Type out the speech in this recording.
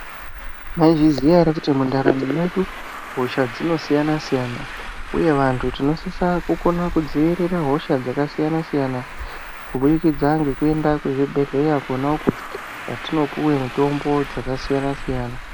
Munozviziya ere kuti mundaramo mwedu hosha dzinosiyana siyana uye vantu tinosise kudzivirira hosha dzakasiyana siyana kubudzikidza nekuenda kuzvibhehleya kona uku kwatinopuwa mitombo dzakasiyana siyana.